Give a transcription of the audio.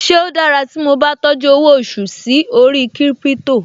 Ṣe ó dára tí mo bá tọ́jú owó oṣù sí orí Crypto?